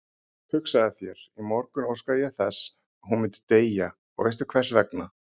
Hugsaðu þér, í morgun óskaði ég þess að hún myndi deyja og veistu hversvegna?